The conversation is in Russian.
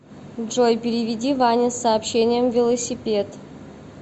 джой переведи ване с сообщением велосипед